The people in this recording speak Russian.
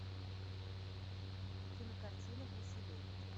кинокартина гуси лебеди